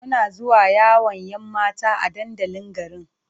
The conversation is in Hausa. Muna zuwa yawon 'yan mata a dandalin garin.